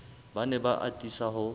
ba ne ba atisa ho